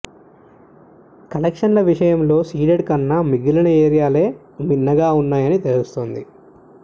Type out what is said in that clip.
కలెక్షన్ల విషయంలో సీడెడ్ కన్నా మిగిలిన ఏరియాలే మిన్నగా వున్నాయని తెలుస్తోంది